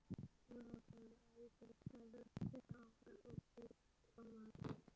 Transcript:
Jóhanna: Hvaða áhrif hefur þetta á framboð til formanns?